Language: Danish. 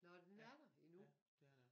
Nå den er der endnu